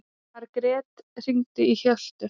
Margret, hringdu í Hjöltu.